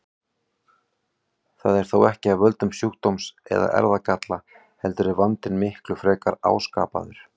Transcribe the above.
Það er þó ekki af völdum sjúkdóms eða erfðagalla heldur er vandinn miklu frekar áskapaður.